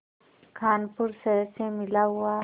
कानपुर शहर से मिला हुआ